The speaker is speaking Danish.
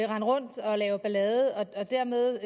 rundt og lave ballade og dermed